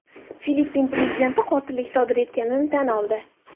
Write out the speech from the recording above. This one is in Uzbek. Filippin prezidenti qotillik sodir etganini tan oldi.